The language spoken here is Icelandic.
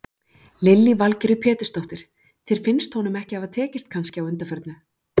Lillý Valgerður Pétursdóttir: Þér finnst honum ekki hafa tekist kannski á undanförnu?